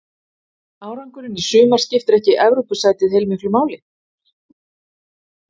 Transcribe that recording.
Árangurinn í sumar skiptir ekki Evrópusætið heilmiklu máli?